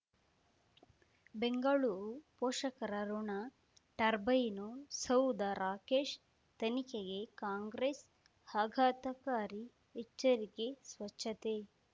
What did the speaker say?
ಬೆಂಗಳೂರು ಪೋಷಕರಋಣ ಟರ್ಬೈನು ಸೌಧ ರಾಕೇಶ್ ತನಿಖೆಗೆ ಕಾಂಗ್ರೆಸ್ ಆಘಾತಕಾರಿ ಎಚ್ಚರಿಕೆ ಸ್ವಚ್ಛತೆ